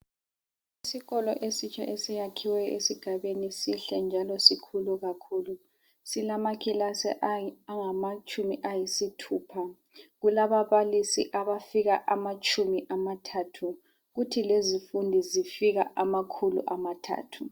Isikolo esitsha esiyakhiweyo esigabeni sihle njalo sikhulu kakhulu. Silamakilasi angamatshumi ayisithupha. Kulababalisi abafika amatshumi amathathu kuthi kulezifundi zifika amakhulu amathathu.